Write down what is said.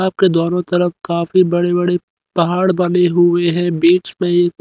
आपके दोनों तरफ काफी बड़े बड़े पहाड़ बने हुए हैं बीच में एक--